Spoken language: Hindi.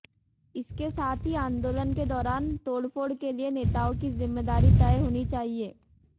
इसके साथ ही आंदोलन के दौरान तोड़फोड़ के लिए नेताओं की जिम्मेदारी तय होनी चाहिए